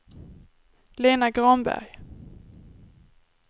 Lena Granberg